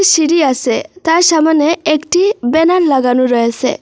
সিঁড়ি আসে তার সামোনে একটি ব্যানার লাগানো রয়েসে।